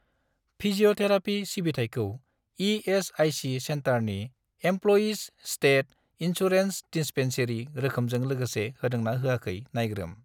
Physiotherapy सिबिथायखौ ESIC. सेन्टारनि employees state insurance dispensary रोखोमजों लोगोसे होदों ना होयाखै नायग्रोम।